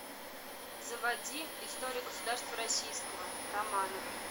заводи история государства российского романовы